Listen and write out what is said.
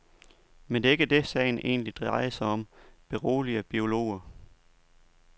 Men det er ikke det, sagen egentlig drejer sig om, beroliger biologer.